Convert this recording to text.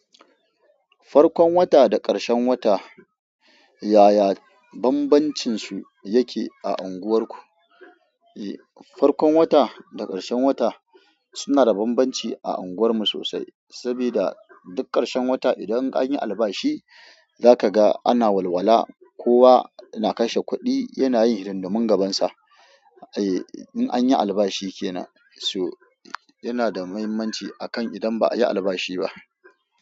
Farkon wata da ƙarshen wata, yaya bambancinsu yake a unguwarku? Farkon wata da ƙarshen wata suna da bambanci a unguwarmu sosai, saboda duk ƙarshen wata idan an yi albashi za ka ga ana walwala, kowa yana kashe kuɗi, yana yin hidimomin magabansa. Eh, in an yi albashi ke nan, so yana da mahimmanci akan idan ba a yi albashi ba.